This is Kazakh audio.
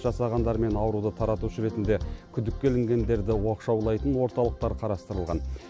жасағандар мен ауруды таратушы ретінде күдікке ілінгендерді оқшаулайтын орталықтар қарастырылған